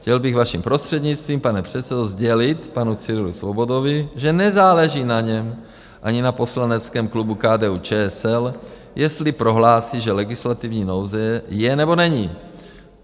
Chtěl bych vaším prostřednictvím, pane předsedo, sdělit panu Cyrilu Svobodovi, že nezáleží na něm ani na poslaneckém klubu KDU-ČSL, jestli prohlásí, že legislativní nouze je, nebo není.